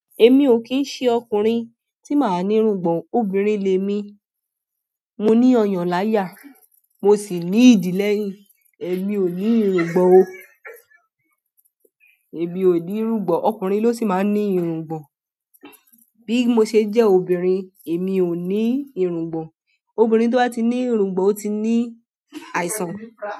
Èmi ò kín ń ṣe ọkùnrin tí màá ní irungbon o. Obìnrin lẹ̀ mi. Mo ní ọyàn láyà, mo sì ní ìdíl lẹ́yìn. Èmi ò ní irungbọ̀n o. Èmi ò ní irungbọ̀n, ọkùnrin ló sì máa ń ní irungbọ̀n. Bí mo ṣe jẹ́ obìnrin, èmi ò ní irungbọ̀n. Obìnrin tó bá ti ní irungbọ̀n, ó ti ní àìsàn.